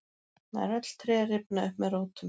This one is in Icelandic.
nær öll tré rifna upp með rótum